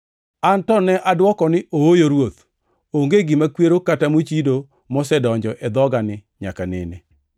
“An to ne adwoko ni, ‘Ooyo Ruoth! Onge gima kwero kata mochido mosedonjo e dhogani nyaka nene.’